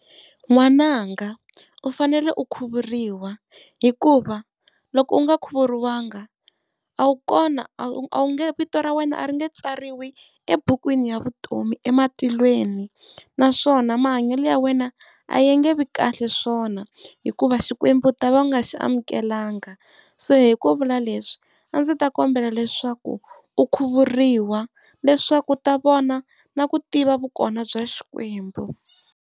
N'wananga u fanele u khuvuriwa hikuva loko u nga khuvuriwanga, a wu kona a wu nge vito ra wena a ri nge tsariwa ebukwini ya vutomi ematihlweni naswona mahanyelo ya wena a yi nge vi kahle swona hikuva Xikwembu u ta va u nga xi amukelanga. Se hi ku vula leswi a ndzi ta kombela leswaku u khuvuriwa leswaku u ta vona na ku tiva vukona bya Xikwembu.